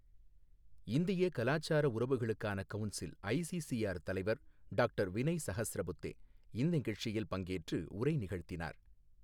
இந்திய கலாச்சார உறவுகளுக்கான கவுன்சில் ஐசிசிஆர் தலைவர் டாக்டர் வினய் சஹஸ்ரபுத்தே இந்நிகழ்ச்சியில் பங்கேற்று உரை நிகழ்த்தினார்.